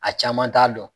A caman t'a dɔn